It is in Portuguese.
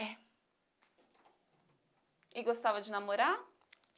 É. E gostava de namorar?